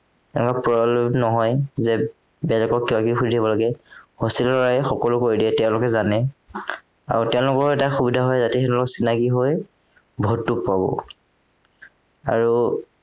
তেওঁলোক পৰলুভ নহয় যে বেলেগক কিবা কিবি সুধিব পৰাকে hostel ৰ লৰাই সকলো কৈ দিয়ে তেওঁলোকে জানে আৰু তেওঁলোকৰ এটা সুবিধা হয় ইয়াতে সেইবোৰ চিনাকি হৈ ভোটতো পাব আৰু